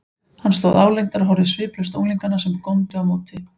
Hann stóð álengdar og horfði sviplaust á unglingana, sem góndu á móti.